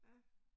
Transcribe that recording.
Ja